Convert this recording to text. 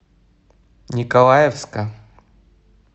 николаевска